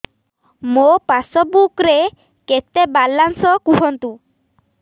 ମୋ ପାସବୁକ୍ ରେ କେତେ ବାଲାନ୍ସ କୁହନ୍ତୁ